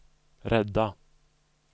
rädda